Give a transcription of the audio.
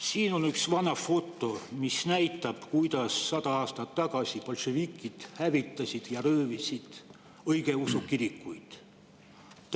Siin on üks vana foto, mis näitab, kuidas sada aastat tagasi bolševikud hävitasid ja röövisid õigeusukirikuid.